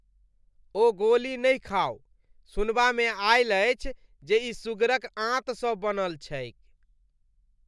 ओ गोली नहि खाउ। सुनबामे आयल अछि जे ई सुगरक आंतसँ बनल छैक।